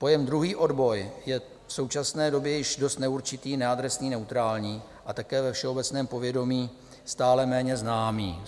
Pojem druhý odboj je v současné době již dost neurčitý, neadresný, neutrální a také ve všeobecném povědomí stále méně známý.